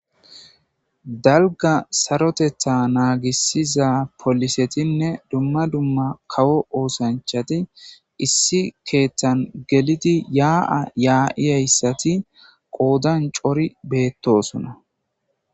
Daliga saroteta naagisiza polisetinne dumma dumma kawo oosanchati issi keeththan gelidi yaa7a yaa'yayessati qoodan coori beettosona